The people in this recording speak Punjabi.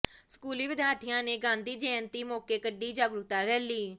ਸਕੂਲੀ ਵਿਦਿਆਰਥੀਆਂ ਨੇ ਗਾਂਧੀ ਜੈਅੰਤੀ ਮੌਕੇ ਕੱਢੀ ਜਾਗਰੂਕਤਾ ਰੈਲੀ